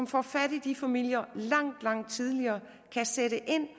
får fat i de familier langt langt tidligere kan sætte ind